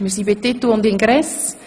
Titel und Ingress